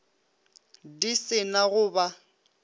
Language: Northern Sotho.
di se na go ba